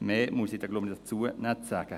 Mehr muss ich dazu, glaube ich, nicht sagen.